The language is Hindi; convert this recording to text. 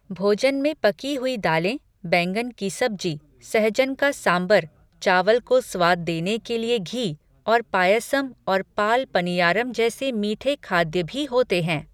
भोजन में पकी हुई दालें, बैंगन की सब्जी, सहजन का सांबर, चावल को स्वाद देने के लिए घी, और पायसम और पाल पनियारम जैसे मीठे खाद्य भी होते हैं।